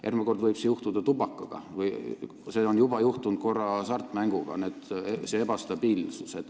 Järgmine kord võib selline ebastabiilsus tabada tubakaaktsiisi ja see on juba korra juhtunud hasartmängumaksuga.